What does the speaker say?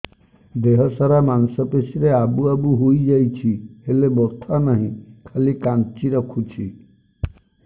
ଦେହ ସାରା ମାଂସ ପେଷି ରେ ଆବୁ ଆବୁ ହୋଇଯାଇଛି ହେଲେ ବଥା ନାହିଁ ଖାଲି କାଞ୍ଚି ରଖୁଛି